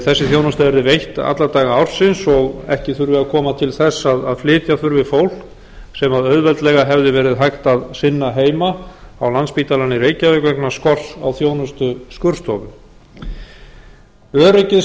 þessi þjónusta yrði veitt alla daga ársins og ekki þurfi að koma til þess að flytja þurfi fólk sem auðveldlega hefði verið hægt að sinna heima á landspítalann í reykjavík vegna skorts á þjónustu